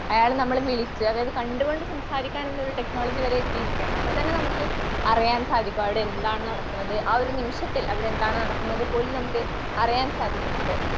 അയാളെ നമ്മളെ വിളിക്കുക അതായത് കണ്ട്കൊണ്ട് വിളിക്കാനുള്ള സംസാരിക്കാനുള്ള ടെക്നോളജി വരെ എത്തിയിരിക്കുകയാണ്. അപ്പത്തന്നെ നമുക്ക് അറിയാൻ സാധിക്കും അവിടെ എന്താണ് നടക്കുന്നത് ആ ഒരു നിമിഷത്തിൽ അവിടെന്താണ് നടക്കുന്നത് പോലും നമുക്ക് അറിയാൻ സാധിക്കുന്നുണ്ട്.